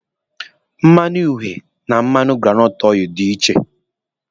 Mmanu uhie na mmanụ granọtụ dị iche.